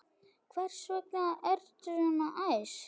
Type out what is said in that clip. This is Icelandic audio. Hvers vegna ertu svona æst?